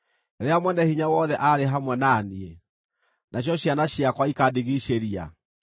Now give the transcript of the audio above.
rĩrĩa Mwene-Hinya-Wothe aarĩ hamwe na niĩ, nacio ciana ciakwa ikandigiicĩria,